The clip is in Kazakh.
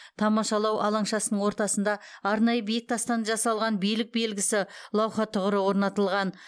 тамашалау алаңшасының ортасында арнайы биік тастан жасалған билік белгісі лауһа тұғыры орнатылған